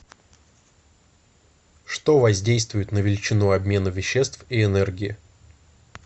что воздействует на величину обмена веществ и энергии